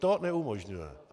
To neumožňuje.